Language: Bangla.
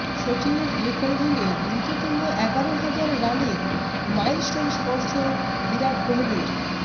শচীনের রেকর্ড ভেঙে দ্রুততম এগারোহাজার রানের মেইলস্টোন স্পর্শ বিরাট কোহলির